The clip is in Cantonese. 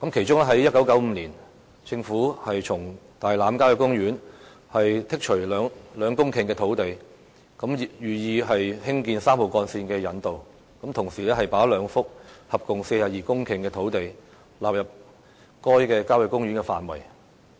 在1995年，政府從大欖郊野公園剔除兩公頃的土地，以興建3號幹線的引道，同時把兩幅合共42公頃的土地納入該郊野公園的範圍。